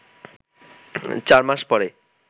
৪ মাস পরে